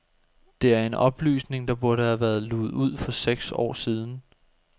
Det er en oplysning, der burde være luget ud for seks år siden.